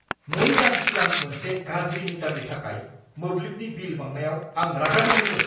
2 दान सिगां मोनसे गाज्रि मिटारनि थाखाय मोब्लिबनि बिल बांनायाव आं रागा जोंदोंमोन।